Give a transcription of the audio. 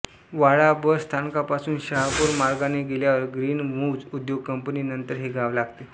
वाडा bus स्थानकापासून शहापूर मार्गाने गेल्यावर ग्रीन मुव्हज् उद्योग कंपनी नंतर हे गाव लागते